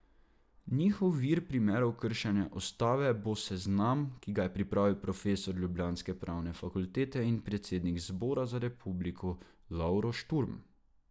Njihov vir primerov kršenja ustave bo seznam, ki ga je pripravil profesor ljubljanske pravne fakultete in predsednik Zbora za republiko Lovro Šturm.